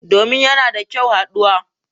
Domin yana da kyau haduwa.